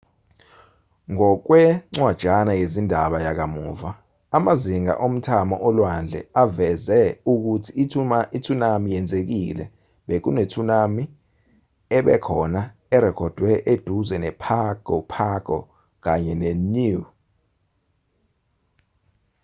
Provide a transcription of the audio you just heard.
ngokwencwajana yezindaba yakamuva amazinga omthamo olwandle aveze ukuthi i-tsunami yenzekile bekune-tsunami ebekhona erekhodwe eduze nepago pago kanye neniue